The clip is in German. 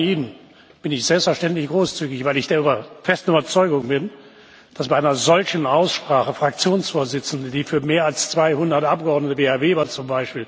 Auch bei Ihnen bin ich selbstverständlich großzügig, weil ich der festen Überzeugung bin, dass bei einer solchen Aussprache Fraktionsvorsitzende, die für mehr als 200 Abgeordnete, wie z.